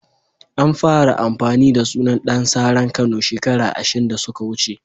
An fara amfani da sunan Dan saran Kano shekara ashin da suka wuce.